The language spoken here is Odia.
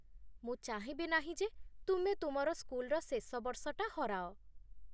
ମୁଁ ଚାହିଁବି ନାହିଁ ଯେ ତୁମେ ତୁମର ସ୍କୁଲର ଶେଷ ବର୍ଷଟା ହରାଅ।